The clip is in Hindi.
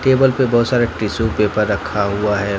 टेबल पे बहोत सारा टिशू पेपर रखा हुआ है।